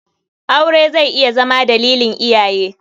Aure zai iya Zama dalilin iyaye.